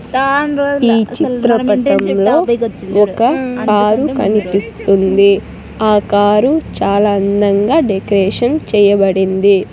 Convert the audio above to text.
ఈ చిత్రపటంలో ఒక కారు కనిపిస్తుంది ఆ కారు చాలా అందంగా డెకరేషన్ చేయబడింది.